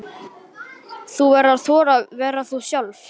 Þú verður að þora að vera þú sjálf.